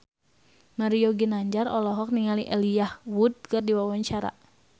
Mario Ginanjar olohok ningali Elijah Wood keur diwawancara